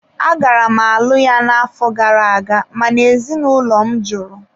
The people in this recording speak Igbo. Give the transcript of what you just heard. Agara m alụ ya n'afọ gara aga mana ezinụlọ m jụrụ.